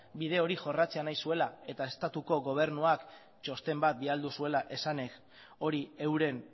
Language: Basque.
bide hori jorratzea nahi zuela eta estatuko gobernuak txosten bat bidali zuela esanez hori euren